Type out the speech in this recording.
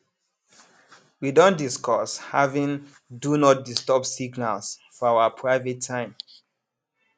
we don discuss having do not disturb signals for our private time